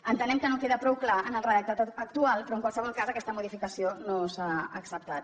entenem que no queda prou clar en el redactat actual però en qualsevol cas aquesta modificació no s’ha acceptat